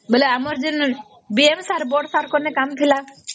ବୋଇଲେ ଆମର ଯେନ BM sir ବଡ଼ sir ଙ୍କ ଥି କାମ ଥିଲା